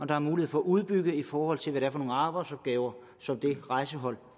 der er mulighed for at udbygge i forhold til hvad det er for nogle arbejdsopgaver som det rejsehold